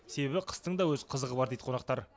себебі қыстың да өз қызығы бар дейді қонақтар